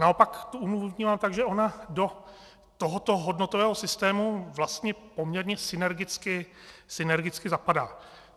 Naopak tu úmluvu vnímám tak, že ona do tohoto hodnotového systému vlastně poměrně synergicky zapadá.